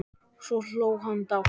Svo hló hún dátt.